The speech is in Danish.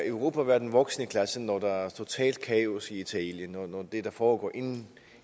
europa være den voksne i klassen når der er totalt kaos i italien når det der foregår